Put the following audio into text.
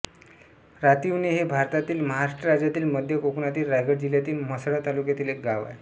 रातिवणे हे भारतातील महाराष्ट्र राज्यातील मध्य कोकणातील रायगड जिल्ह्यातील म्हसळा तालुक्यातील एक गाव आहे